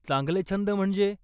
चांगले छंद म्हणजे?